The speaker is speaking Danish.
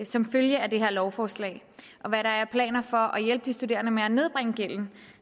som følge af det her lovforslag og hvad der er af planer for at hjælpe de studerende med at nedbringe gælden